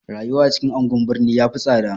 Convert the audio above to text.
Rayuwa a cikin anguwan birni ya fi tsada.